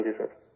ہاں جی سر